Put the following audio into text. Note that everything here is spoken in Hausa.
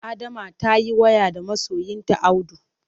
Adama ta yi waya da masoyinta Audu.